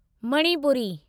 Manipuri